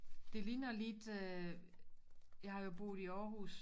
Det ligner lidt øh jeg har jo boet i Århus